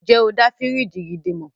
Ǹjẹ́ o dá fíríjì gidi mọ̀?